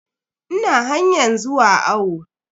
Ina hanyan zuwa awo.